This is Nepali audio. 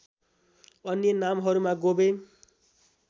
अन्य नामहरूमा गोवे